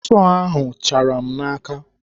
Sọọ ahụ chara m n'aka.